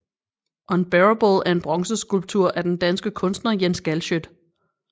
Unbearable er en bronzeskulptur af den danske kunstner Jens Galschiøt